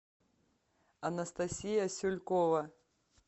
анастасия сюлькова